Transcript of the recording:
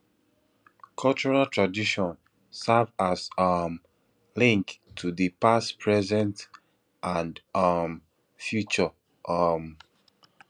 cultural tradition serve as um link to di past present and um future um